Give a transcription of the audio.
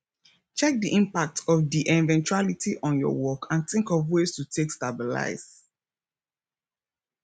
check di impact of di eventuality on your work and think of ways to take stabilize